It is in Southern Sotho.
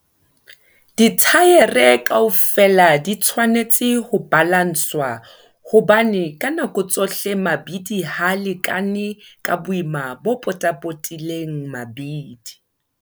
Dithaere kaofela di tshwanetse ho balanswa hobane ka nako tsohle mabidi ha a lekane ka boima bo potapotileng mabidi.